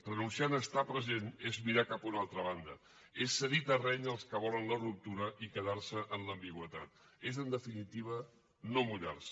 renunciar a estar present és mirar cap a una altra banda és cedir terreny als qui volen la ruptura i quedar se en l’ambigüitat és en definitiva no mullar se